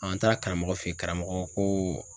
Ɔn an taara karamɔgɔ fe yen, karamɔgɔ ko ko